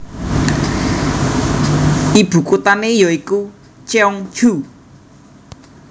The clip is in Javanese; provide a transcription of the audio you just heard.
Ibukuthane ya iku Cheongju